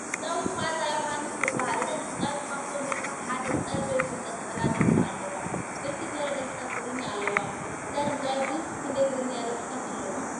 ድምፃዊት መኣዛ የውሃንስ ትባሃል ። እዛ ድምፃዊት ካብ ቶም ደርፍታት ሓደ ቀልበይ ዝብል ነፀላ ደርፊ ኣለዋ ።ብርክት ዘበለ ደርፍታት ትግርኛ ኣለዋ ።እዛ ድምፃዊት ክንደይ ትግርኛ ደርፍታት ኣለዋ ?